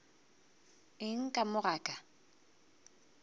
eng ka mo ga ka